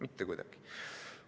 Mitte kuidagi!